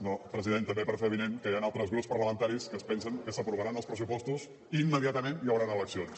no president també per fer avinent que hi han altres grups parlamentaris que es pensen que s’aprovaran els pressupostos i immediatament hi hauran eleccions